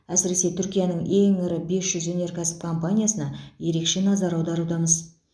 әсіресе түркияның ең ірі бес жүз өнеркәсіп компаниясына ерекше назар аударудамыз